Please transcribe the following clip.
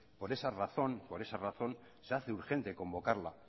por esa razón se hace urgente convocarla